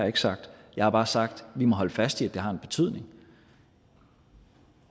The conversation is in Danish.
ikke sagt jeg har bare sagt at vi må holde fast i at det har en betydning